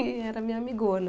E era minha amigona.